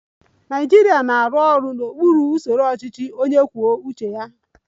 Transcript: Naịjirịa na-arụ ọrụ n'okpuru usoro ọchịchị onye kwuo uche ya